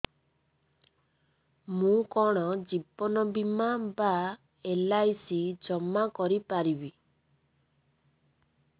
ମୁ କଣ ଜୀବନ ବୀମା ବା ଏଲ୍.ଆଇ.ସି ଜମା କରି ପାରିବି